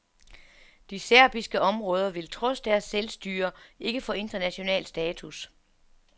De serbiske områder vil trods deres selvstyre ikke få international status.